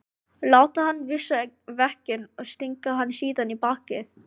Láta hann vísa veginn og stinga hann síðan í bakið?